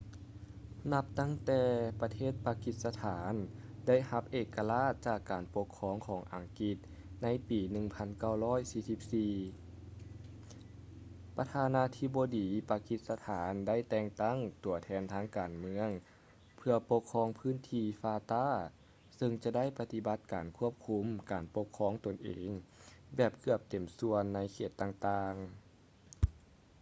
ນັບຕັ້ງແຕ່ປະເທດປາກິສະຖານໄດ້ຮັບເອກະລາດຈາກການປົກຄອງຂອງອັງກິດໃນປີ 1947 ປະທານາທິບໍດີປາກິສະຖານໄດ້ແຕ່ງຕັ້ງ ຕົວແທນທາງການເມືອງ ເພື່ອປົກຄອງພື້ນທີ່ fata ເຊິ່ງຈະໄດ້ປະຕິບັດການຄວບຄຸມການປົກຄອງຕົນເອງແບບເກືອບເຕັມສ່ວນໃນເຂດຕ່າງໆ